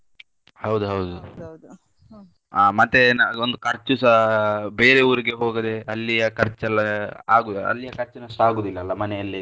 ಹೌದು ಹೌದು ಆ ಮತ್ತೆ ಒಂದು ಖರ್ಚುಸಾ ಬೇರೆ ಊರಿಗೆ ಹೋಗದೆ ಅಲ್ಲಿಯ ಖರ್ಚು ಎಲ್ಲಾ ಆಗುದಿಲ್ಲ ಅಲ್ಲಿಯ ಖರ್ಚಿನಷ್ಟು ಆಗುದಿಲ್ಲ ಅಲ್ಲ ಮನೆಯಲ್ಲಿ ಇದ್ರೆ.